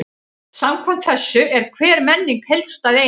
Samkvæmt þessu er hver menning heildstæð eining.